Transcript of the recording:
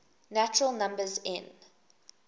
natural numbers n